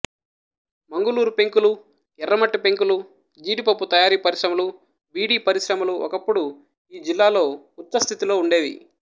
మంగుళూరు పెంకులు ఎర్రమట్టి పెంకులు జీడిపప్పు తయారీ పరిశ్రమలు బీడి పరిశ్రమలు ఒకప్పుడు ఈ జిల్లాలో ఉచ్చస్థితిలో ఉండేవి